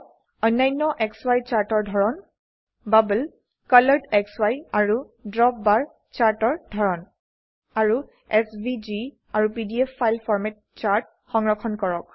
অন্যান্য সি চাৰ্টৰ ধৰন বাবল কলৰেডসি আৰু ড্ৰপবাৰ চাৰ্টৰ ধৰন আৰু এছভিজি আৰু পিডিএফ ফাইল ফৰম্যাট চাৰ্ট সংৰক্ষণ কৰক